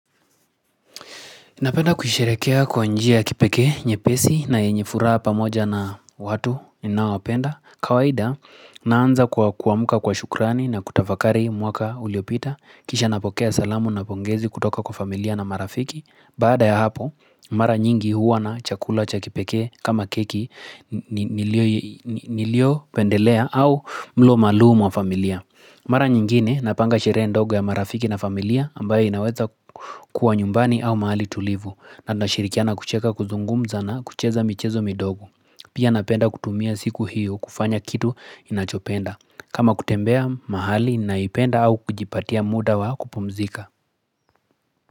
Napenda kusherehekea kwa njia ya kipekee nyepesi na yenye furaha pamoja na watu ninaowapenda. Kawaida naanza kwa kuamka kwa shukrani na kutafakari mwaka uliopita. Kisha napokea salamu na pongezi kutoka kwa familia na marafiki. Baada ya hapo, mara nyingi huwa na chakula cha kipekee kama keki niliopendelea au mlo maalumu wa familia. Mara nyingine napanga sherehe ndogo ya marafiki na familia ambayo inaweza kuwa nyumbani au mahali tulivu na tunashirikiana kucheka kuzungumza na kucheza michezo midogo. Pia napenda kutumia siku hiyo kufanya kitu inachopenda. Kama kutembea mahali ninaiyopenda au kujipatia muda wa kupumzika.